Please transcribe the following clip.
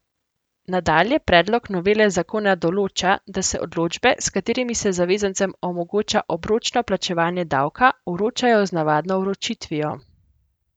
Nadalje predlog novele zakona določa, da se odločbe, s katerimi se zavezancem omogoča obročno plačevanje davka, vročajo z navadno vročitvijo.